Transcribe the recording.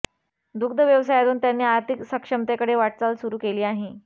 दुग्ध व्यवसायातून त्यांनी आर्थिक सक्षमतेकडे वाटचाल सुरू केली आहे